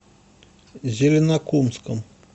зеленокумском